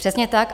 Přesně tak.